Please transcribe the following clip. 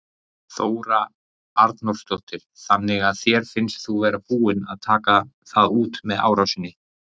Þóra Arnórsdóttir: Þannig að þér finnst þú vera búinn að taka það út með árásinni?